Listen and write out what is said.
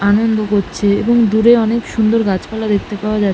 আনন্দ করছে এবং দূরে অনেক সুন্দর গাছপালা দেখতে পাওয়া যা--